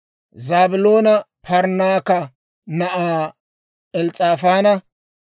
Zaabiloona Parnnaaka na'aa Els's'aafaana;